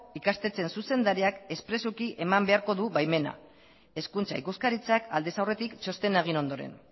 ikastetxeen zuzendariak expresoki eman beharko du baimena hizkuntza ikuskaritzak aldez aurretik txostena egin ondoren